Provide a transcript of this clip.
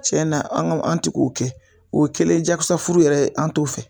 Cɛ na an ga an te k'o kɛ o kɛlen jakosa furu yɛrɛ an t'o fɛ